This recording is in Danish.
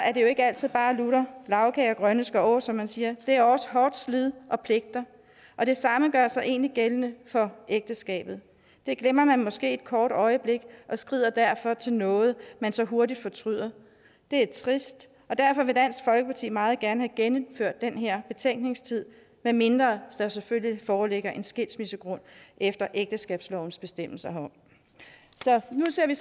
er det jo ikke altid lutter lagkage og grønne skove som man siger det er også hårdt slid og pligter det samme gør sig egentlig gældende for ægteskabet det glemmer man måske et kort øjeblik og skrider derfor til noget man så hurtigt fortryder det er trist derfor vil dansk folkeparti meget gerne have genindført den her betænkningstid medmindre der selvfølgelig foreligger en skilsmissegrund efter ægteskabslovens bestemmelser herom så nu ser vi